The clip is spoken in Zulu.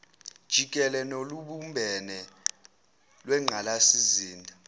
jikele nolubumbene lwengqalasizinda